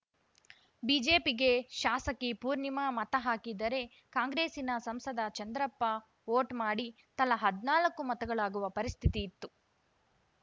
ಬಿಜೆಪಿಗೆ ಶಾಸಕಿ ಪೂರ್ಣಿಮಾ ಮತ ಹಾಕಿದರೆ ಕಾಂಗ್ರೆಸ್ಸಿನ ಸಂಸದ ಚಂದ್ರಪ್ಪ ಓಟ್‌ ಮಾಡಿ ತಲಾ ಹದ್ನಾಲ್ಕು ಮತಗಳಾಗುವ ಪರಿಸ್ಥಿತಿಯಿತ್ತು